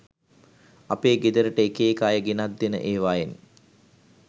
අපේ ගෙදරට එක එක අය ගෙනත් දෙන එවායෙන්